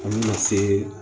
An bɛna se